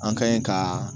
An ka ɲi ka